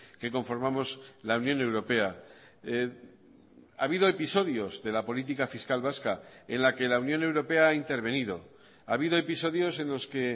que conformamos la unión europea ha habido episodios de la política fiscal vasca en la que la unión europea ha intervenido ha habido episodios en los que